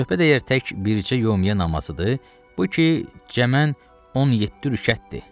Söhbət əgər tək bircə yömüyyə namazıdır, bu ki, cəmən 17 rükətdir.